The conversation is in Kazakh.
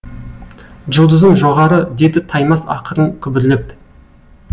жұлдызым жоғары деді таймас ақырын күбірлеп